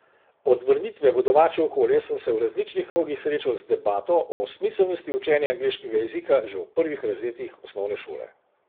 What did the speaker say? Od vrnitve v domače okolje sem se v različnih krogih srečal z debato o smiselnosti učenja angleškega jezika že v prvih razredih osnovne šole.